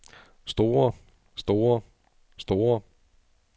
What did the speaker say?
store store store